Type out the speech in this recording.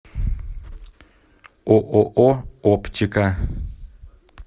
ооо оптика